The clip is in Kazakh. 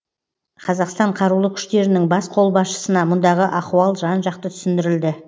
қазақстан қарулы күштерінің бас қолбасшысына мұндағы ахуал жан жақты түсіндірілді